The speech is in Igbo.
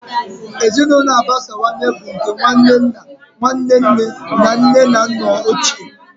Ezinụlọ agbasawanye bụ nke nwanne nna, Nwanne nne na nne na nna ochie wdg.